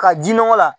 Ka ji nɔgɔ la